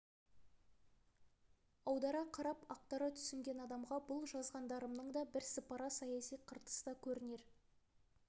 аудара қарап ақтара түсінген адамға бұл жазғандарымнан да бірсыпыра саяси қыртыс та көрінер